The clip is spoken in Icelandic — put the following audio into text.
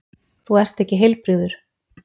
Þú ert ekki heilbrigður!